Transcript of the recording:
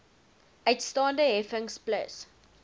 uitstaande heffings plus